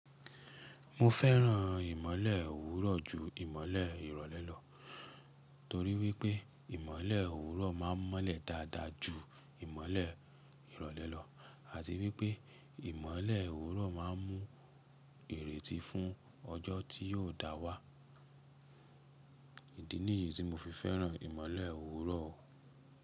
Mo fẹ́ràn ìmọ́lẹ̀ òwúrọ̀ ju ìmọ́lẹ̀ ìrọ̀lẹ́ lọ, torí wípé ìmọ́lẹ̀ òwúrọ̀ máa ń mọ́lẹ̀ dáadáa ju ìmọ́lẹ̀ ìrọ̀lẹ́ lọ, àti wípé ìmọ́lẹ̀ òwúrọ̀ máa ń mú ìrètí fún ọjọ́ tí yóò dá wá. Idi niyí ti mofi fẹ́ràn ìmọ́lẹ̀ òwúrọ̀.